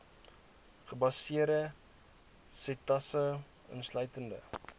gebaseerde setasese insluitende